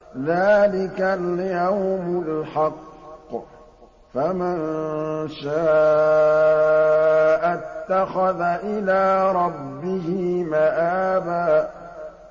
ذَٰلِكَ الْيَوْمُ الْحَقُّ ۖ فَمَن شَاءَ اتَّخَذَ إِلَىٰ رَبِّهِ مَآبًا